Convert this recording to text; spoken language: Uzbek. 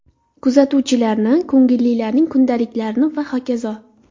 Kuzatuvlarni, ko‘ngillilarning kundaliklarini va hokazo.